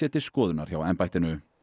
til skoðunar hjá embættinu